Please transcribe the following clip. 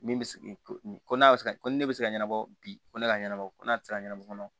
Min bɛ se ko n'a bɛ se ka ko ni ne bɛ se ka ɲɛnabɔ bi ko ne ka ɲɛnabɔ ko n'a tɛ se ka ɲɛnabɔ